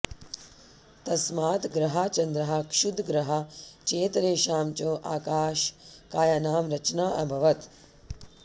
तस्मात् ग्रहाः चन्द्राः क्षुद्रग्रहाः चेतरेषां च आकाशकायानां रचना अभवत्